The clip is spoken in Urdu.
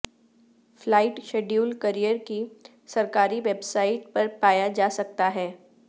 فلائٹ شیڈول کیریئر کی سرکاری ویب سائٹ پر پایا جا سکتا ہے